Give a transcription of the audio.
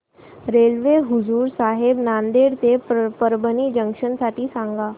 railway Hazur Sahib Nanded ते Parbhani junction साठी सांगा